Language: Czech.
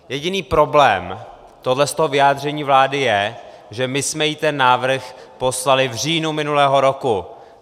Jediný problém tohohle vyjádření vlády je, že my jsme jí ten návrh poslali v říjnu minulého roku.